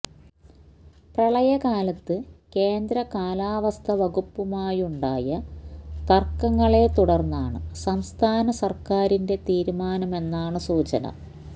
പ്രളയകാലത്ത് കേന്ദ്ര കാലാവസ്ഥ വകുപ്പുമായുണ്ടായ തര്ക്കങ്ങളെ തുടര്ന്നാണ് സംസ്ഥാന സര്ക്കാരിന്റെ തീരുമാനമെന്നാണ് സൂചന